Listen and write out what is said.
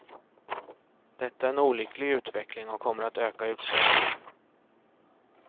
Detta är en olycklig utveckling och kommer att öka utslagningen.